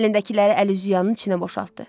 Əlindəkiləri əl-üz yuyanının içinə boşaltdı.